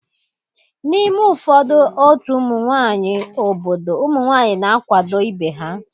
N'ime ụfọdụ otu ụmụ nwanyị obodo ụmụ nwanyị na-akwado ibe ha.